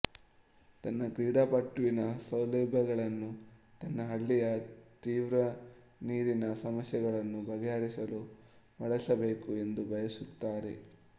ತನ್ನ ಕ್ರೀಡಾಪಟುವಿನ ಸೌಲಭ್ಯಗಳನ್ನು ತನ್ನ ಹಳ್ಳಿಯ ತೀವ್ರ ನೀರಿನ ಸಮಸ್ಯೆಗಳನ್ನು ಬಗ್ಗೆಹರಿಸಲು ಬಳಸಬೇಕು ಎಂದು ಬಯಸುತ್ತಾರೆ